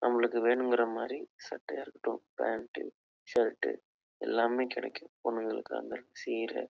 நம்மளுக்கு வேணுங்கரமாறி சட்டையா இருக்கட்டும் பேண்ட் ஷர்ட் எல்லாமே கிடைக்கும் பொண்ணுங்களுக்கான சீரு